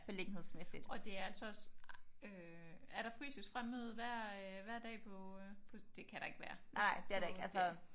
Og det er altså også øh er der fysisk fremmøde hver øh hver dag på det kan der ikke være på der